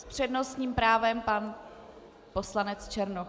S přednostním právem pan poslanec Černoch.